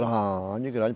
Grande, grande.